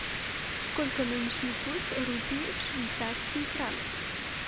сколько нынешний курс рупии в швейцарские франки